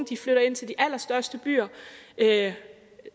flytter ind til de allerstørste byer